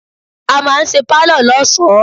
A máa ń ṣe Pálọ̀ lọ́sọ̀ọ́.